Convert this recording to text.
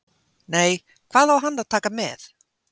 Nei, hvað á hann að taka með?